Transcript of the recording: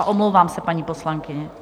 A omlouvám se, paní poslankyně.